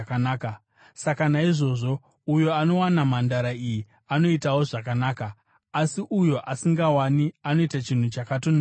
Saka naizvozvo, uyo anowana mhandara iyi anoitawo zvakanaka, asi uyo asingawani anoita chinhu chakatonakisa.